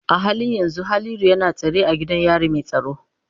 A halin yanzu Haliru yana tsare a gidan yari mai tsaro.